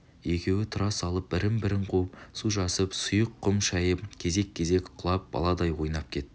екеуі тұра салып бірін-бірі қуып су шашып сұйық құм шайып кезек-кезек құлап баладай ойнап кетті